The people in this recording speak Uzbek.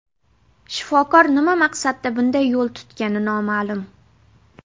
Shifokor nima maqsadda bunday yo‘l tutgani noma’lum.